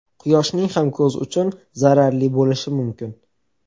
Quyoshning ham ko‘z uchun zararli bo‘lishi mumkin.